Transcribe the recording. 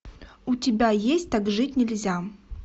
у тебя есть так жить нельзя